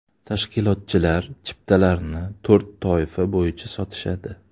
Tashkilotchilar chiptalarni to‘rt toifa bo‘yicha sotishadi.